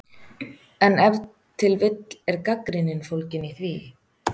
En ef til vill er gagnrýnin fólgin í því?!